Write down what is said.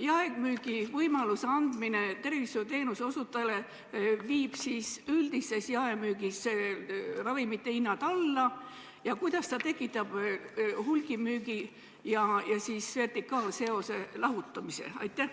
jaemüügi võimaluse andmine tervishoiuteenuse osutajatele ikkagi viiks üldises jaemüügis ravimite hinnad alla ja kuidas see tekitaks hulgimüügi vertikaalseose kaotamise?